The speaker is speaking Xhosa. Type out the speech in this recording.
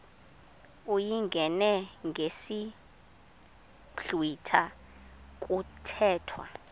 uyingene ngesiblwitha kuthethwa